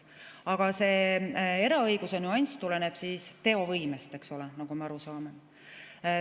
Aga see eraõiguse nüanss tuleneb teovõimest, eks ole, nagu me aru saame.